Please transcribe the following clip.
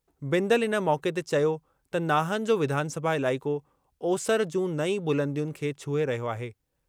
बिंदल इन मौक़े ते चयो त नाहन जो विधानसभा इलाइक़ो ओसरि जूं नईं बुलंदियुनि खे छुहे रहियो आहे।